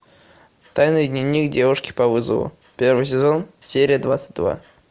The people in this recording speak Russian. тайный дневник девушки по вызову первый сезон серия двадцать два